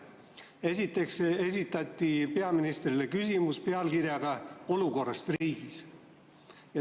Esiteks esitati peaministrile küsimus pealkirjaga "Olukord riigis".